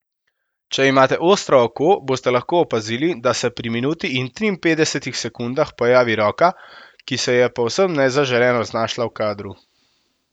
Če imate ostro oko, boste lahko opazili, da se pri minuti in triinpetdesetih sekundah pojavi roka, ki se je povsem nezaželeno znašla v kadru.